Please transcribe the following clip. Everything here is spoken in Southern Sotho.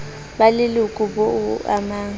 ba leloka boa o amang